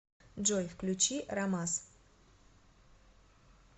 джой включи рамас